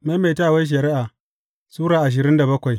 Maimaitawar Shari’a Sura ashirin da bakwai